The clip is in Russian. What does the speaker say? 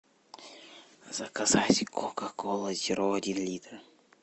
заказать кока кола зеро один литр